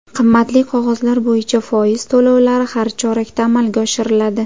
Qimmatli qog‘ozlar bo‘yicha foiz to‘lovlari har chorakda amalga oshiriladi.